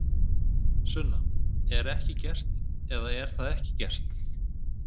Sunna: Er ekki gert, eða er það ekki gert?